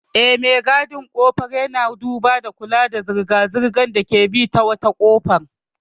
Eh, me gadin ƙofar ya duba da kula da zirga-zirgar da ke bi ta wata kofa.